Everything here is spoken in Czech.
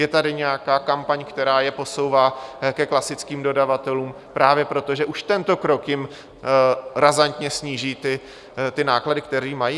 Je tady nějaká kampaň, která je posouvá ke klasickým dodavatelům právě proto, že už tento krok jim razantně sníží náklady, které mají?